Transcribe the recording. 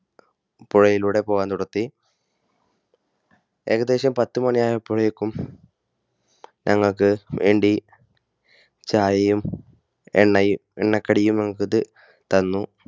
പുഴയിലൂടെ പോകാൻ തുടങ്ങി. ഏകദേശം പത്തുമണി ആയിപ്പോയേക്കും ഞങ്ങൾക്കുവേണ്ടി ചായയും എണ്ണ കടിയും ഞങ്ങൾക്ക് തന്നു.